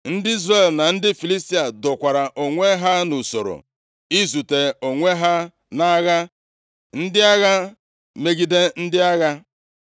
Ndị Izrel na ndị Filistia dokwara onwe ha nʼusoro izute onwe ha nʼagha, ndị agha megide ndị agha.